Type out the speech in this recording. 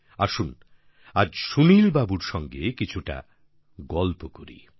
আসুন আজ সুনীল বাবুর সঙ্গে কিছুটা গল্প করি